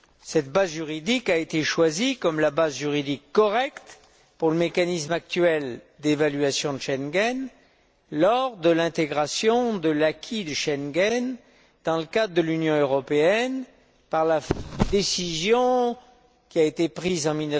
Cette base juridique a été choisie comme la base juridique correcte pour le mécanisme actuel d'évaluation de Schengen lors de l'intégration de l'acquis de Schengen dans le cadre de l'Union européenne par la décision dite de ventilation prise en